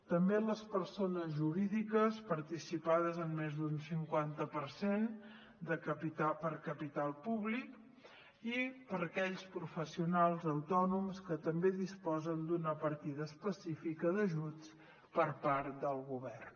també les persones jurídiques participades en més d’un cinquanta per cent per capital públic i aquells professionals autònoms que també disposen d’una partida específica d’ajuts per part del govern